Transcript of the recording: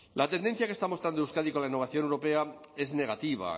la tendencia que está mostrando euskadi con la innovación europea es negativa